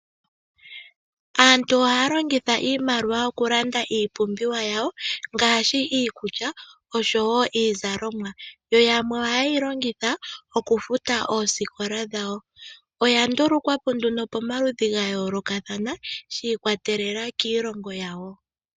Aantu ohaa longitha iimaliwa okulanda iipumbiwa yawo ngaashi iikulya oshowo iizalomwa, yo yamwe oha yeyi longitha okufuta oosikola dhawo, oya ndulukwapo nduno pomaludhi ga yoolokathana shiikwatelela kiilongo yawo.